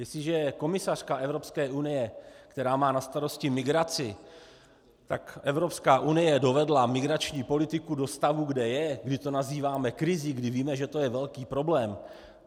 Jestliže je komisařka Evropské unie, která má na starosti migraci, tak Evropská unie dovedla migrační politiku do stavu, kde je, kdy to nazýváme krizí, kdy víme, že to je velký problém.